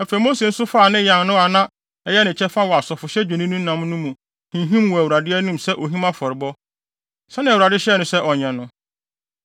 Afei Mose nso faa ne yan no a na ɛyɛ ne kyɛfa wɔ asɔfohyɛ dwennini nam no mu no hinhim wɔ Awurade anim sɛ ohim afɔrebɔ, sɛnea Awurade hyɛɛ no sɛ ɔnyɛ no.